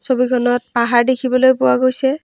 ছবিখনত পাহাৰ দেখিবলৈ পোৱা গৈছে।